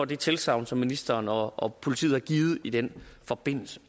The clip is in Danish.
det tilsagn som ministeren og politiet har givet i den forbindelse